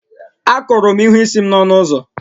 Akụrụ m ihu isi m na ọnụ ụzọ